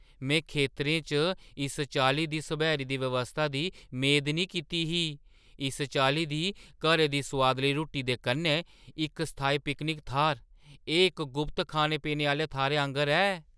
मैं खेतरें च इस चाल्ली दी सब्हैरी दी व्यवस्था दी मेद नेईं कीती ही, इस चाल्ली दी घरै दी सोआदली रुट्टी दे कन्नै इक अस्थाई पिकनिक थाह्‌र! एह् इक गुप्त खाने-पीने आह्‌ले थाह्‌रै आंह्‌गर ऐ!